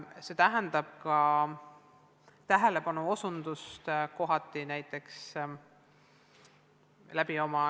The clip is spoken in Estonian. See tähendab ka tähelepanu osutamist kitsaskohtadele.